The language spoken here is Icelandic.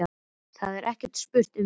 Það er ekki spurt um neitt.